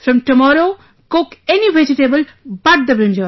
From tomorrow cook any vegetable but the brinjal